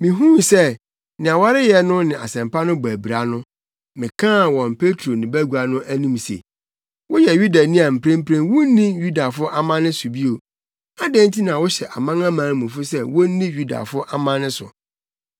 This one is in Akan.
Mihuu sɛ nea wɔreyɛ no ne Asɛmpa no bɔ abira no, mekaa wɔ Petro ne bagua no anim se, “Woyɛ Yudani a mprempren wunni Yudafo amanne so bio. Adɛn nti na wohyɛ amanamanmufo sɛ wonni Yudafo amanne so?